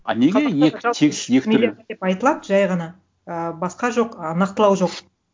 а неге айтылады жай ғана і басқа жоқ ы нақтылауы жоқ